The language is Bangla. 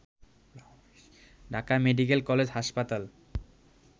ঢাকা মেডিকেল কলেজ হাসপাতাল